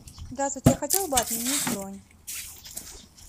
здравствуйте я хотела бы отменить бронь